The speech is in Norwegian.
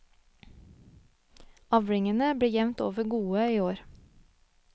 Avlingene ble jevnt over gode i år.